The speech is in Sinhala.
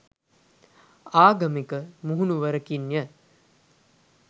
ආගමික මුහුණුවරකින්ය